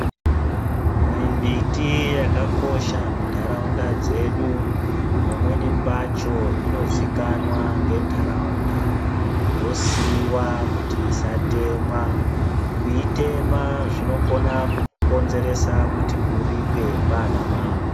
Mimbiti yakakosha muntaraunda dzedu pamweni pacho inozikanwa ngentaraunda yosiiwa kuti isatemwa. Kuitema zvinokona kukonzeresa kuti uripe kwana mambo.